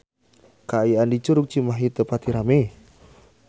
Kaayaan di Curug Cimahi teu pati rame